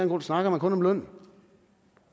grund snakker man kun om lønnen